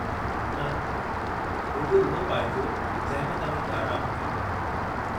न, रुॻो उहो पाइजो जंहिं में तव्हां खे आरामु हुजे!